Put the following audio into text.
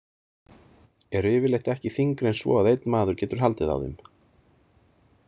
Eru yfirleitt ekki þyngri en svo að einn maður getur haldið á þeim.